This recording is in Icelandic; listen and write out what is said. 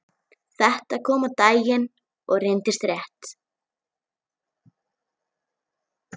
Þetta kom á daginn og reyndist rétt.